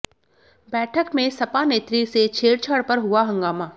बैठक में सपा नेत्री से छेड़छाड़ पर हुआ हंगामा